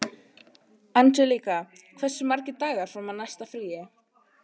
Angelíka, hversu margir dagar fram að næsta fríi?